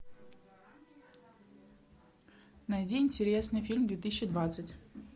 найди интересный фильм две тысячи двадцать